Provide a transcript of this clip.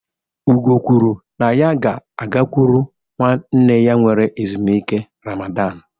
Ugo kwuru na ya ga-agakwuru nwanne ya were ezumike Ramadan